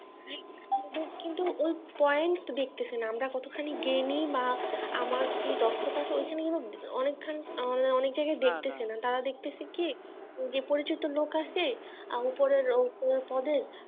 আমাদের কিন্তু ওই poient দেখছে না আমরা কতখানি জ্ঞানী বা আমার কি দক্ষতা আছে ঐখানে কিন্তু ঐখানে কিন্তু অনেকখানি আমাদের অনেক জায়গায় দেখছে না তারা দেখছে কি পরিচিত লোক আসছে আর উপরের~ উপরের পদের